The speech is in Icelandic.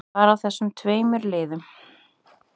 Bara af þessum tveimur liðum.